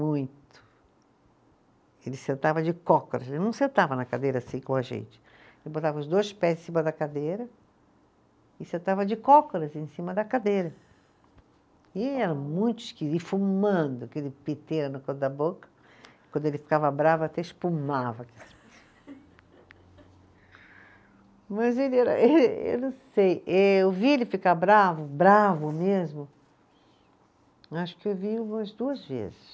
Muito ele sentava de cócoras, ele não sentava na cadeira assim como a gente, ele botava os dois pés em cima da cadeira e sentava de cócoras em cima da cadeira, e era muito esquisito e fumando aquele da boca, quando ele ficava bravo até espumava, mas ele era, eh eu não sei, eu vi ele ficar bravo, bravo mesmo acho que eu vi umas duas vezes